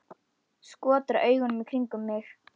Skotra augunum í kringum mig.